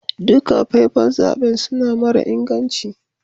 Dukan fefan zaben suna mara inganci.